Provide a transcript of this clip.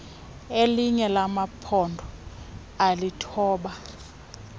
lelinye lamaphondo alithoba